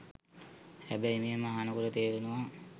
හැබැයි මෙහෙම අහනකොටම තේරෙනවා